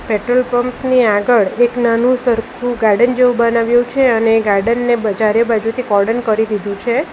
Petrol pump ની આગળ એક નાનું સરખું ગાર્ડન જેવું બનાવ્યું છે અને ગાર્ડન ને ચારે બાજુથી કોર્ડન કરી દીધું છે.